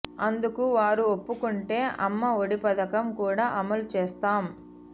అందుకు వారు ఒప్పుకుంటే అమ్మ ఒడి పథకం కూడా అమలు చేస్తాం